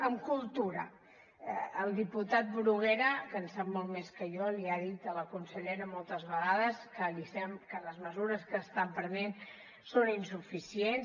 amb cultura el diputat bruguera que en sap molt més que jo li ha dit a la consellera moltes vegades que les mesures que estan prenent són insuficients